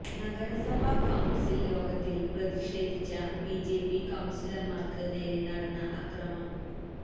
നഗരസഭ കൌണ്സില് യോഗത്തില് പ്രതിഷേധിച്ച ബിജെപി കൌണ്സിലര്മാര്ക്ക് നേരെ നടന്ന അക്രമം